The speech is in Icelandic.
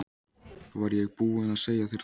Var ég ekki búin að segja þér það?